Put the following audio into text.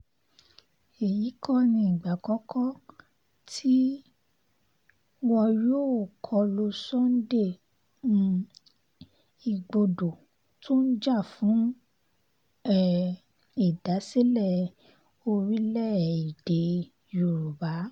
èyí kọ́ nígbà àkọ́kọ́ tí wọn yóò kọ lu sunday um igbodò tó ń jà fún um ìdásílẹ̀ orílẹ̀-èdè yorùbá